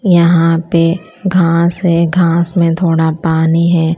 यहां पे घास है घास में थोड़ा पानी है।